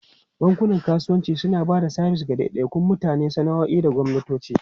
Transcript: Bankunan kasuwanci suna ba da sabis ga daidaikun mutane, sana'o'i da gwamnatoci.